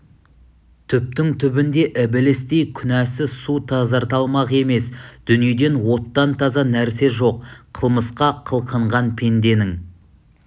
түптің түбінде ібілістей күнәні су тазарта алмақ емес дүниеде оттан таза нәрсе жоқ қылмысқа қылқынған пенденің